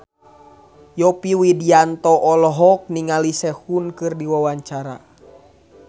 Yovie Widianto olohok ningali Sehun keur diwawancara